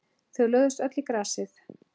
Þau lögðust öll í grasið.